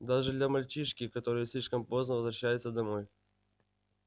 даже для мальчишки который слишком поздно возвращается домой